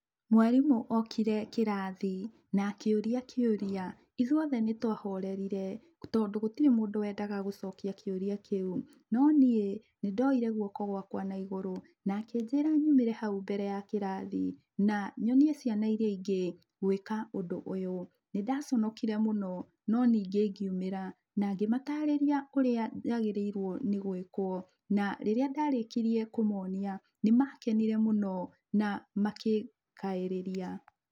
Mwarimũ okire kĩrathi, na akĩũria kĩũria. Ithuothe nĩtwahorerire, tondũ gũtirĩ mũndũ wendaga gũcokia kĩũria kĩu. Noniĩ nĩndoire guoko gwakwa naigũrũ na akĩnjĩra nyumĩre hau mbere ya kĩrathi, na nyonie ciana iria ingĩ gwĩka ũndũ ũyũ. Nĩndaconokire mũno, no ningĩ ngiumĩra, nangĩmatarĩria ũrĩa yagĩrĩire nĩgwĩkwo. Na rĩrĩa ndarĩkirie kũmonia, nĩmakenire mũno na makĩngaĩrĩria.